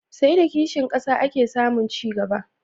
Sai da kishin ƙasa ake samun ci gaba.